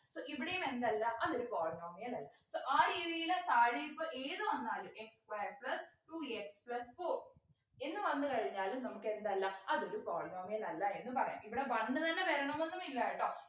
so ഇവിടെയും എന്തല്ല അതൊരു polynomial അല്ല so ആ രീതിയില് താഴെയിപ്പോ ഏത് വന്നാലും x square plus two x plus four എന്ന് വന്നു കഴിഞ്ഞാലും നമുക്കെന്തല്ല അതൊരു polynomial അല്ല എന്ന് പറയാം ഇവിടെ one തന്നെ വരണന്നൊന്നുമില്ല കേട്ടോ